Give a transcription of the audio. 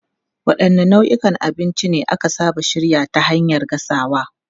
Wadanne nau'ikan abinci ne aka saba shirya ta hanyar gasawa?